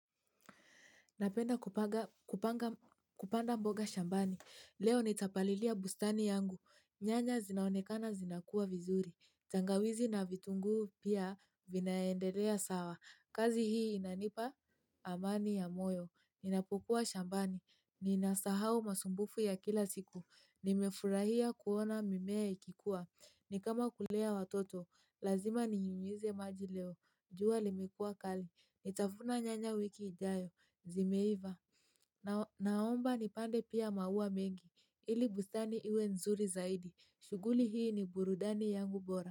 Napenda kupanda mboga shambani. Leo nitapalilia bustani yangu. Nyanya zinaonekana zinakua vizuri. Tangawizi na vitunguu pia vinaendelea sawa. Kazi hii inanipa amani ya moyo. Ninapopokuwa shambani ninasahau masumbufu ya kila siku nimefurahia kuona mimea ikikua. Ni kama kulea watoto lazima ninyunyize maji leo jua limekuwa kali nitavuna nyanya wiki ijayo zimeiva naomba nipande pia maua mengi ili bustani iwe nzuri zaidi shughuli hii ni burudani yangu bora.